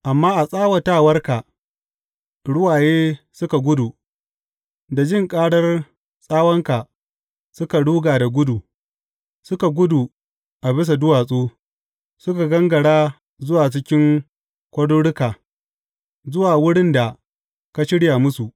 Amma a tsawatawarka ruwaye suka gudu da jin ƙarar tsawanka suka ruga da gudu; suka gudu a bisa duwatsu, suka gangara zuwa cikin kwaruruka, zuwa wurin da ka shirya musu.